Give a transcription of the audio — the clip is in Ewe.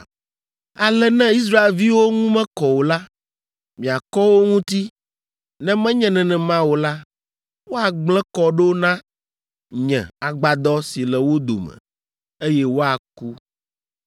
“ ‘Ale ne Israelviwo ŋu mekɔ o la, miakɔ wo ŋuti; ne menye nenema o la, woagblẽ kɔ ɖo na nye Agbadɔ si le wo dome, eye woaku.’ ”